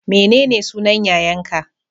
Menene sunan yayan ka?